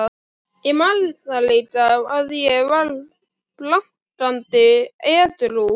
Ég man það líka, að ég var blankandi edrú.